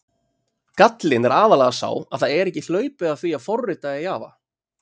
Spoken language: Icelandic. Gallinn er aðallega sá að það er ekki hlaupið að því að forrita í Java.